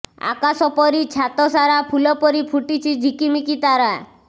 ଆକାଶ ପରି ଛାତସାରା ଫୁଲ ପରି ଫୁଟିଛି ଝିକିମିକି ତାରା